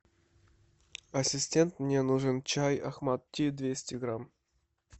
ассистент мне нужен чай ахмад ти двести грамм